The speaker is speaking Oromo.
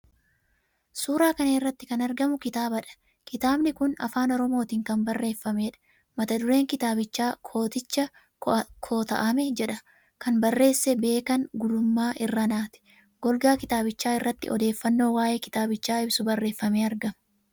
Suuraa kana irratti kan argamu kitaabadha. Kitaabni kun Afaan Oromootiin kan barreeffameedha. Mata-dureen kitaabichaa "Kooticha Kota'ame" jedha. Kan barreesse Beekan Gulummaa Irranaati. Golgaa kitaabichaa irratti odeeffannoo waa'ee kitaabichaa ibsu barreeffamee argama.